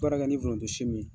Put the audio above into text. baara kɛ ni foronto si min ye